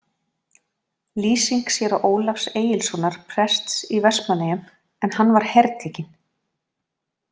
Lýsing séra Ólafs Egilssonar prests í Vestmannaeyjum en hann var hertekinn.